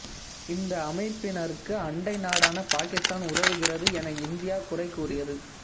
இந்த அமைப்பினருக்கு அண்டை நாடான பாகிஸ்தான் உதவுகிறது என இந்தியா குறை கூறியது